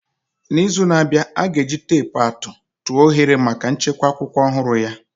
N'izu na-abịa, ọ ga-eji teepu atụ tụọ oghere maka nchekwa akwụkwọ ọhụrụ ya.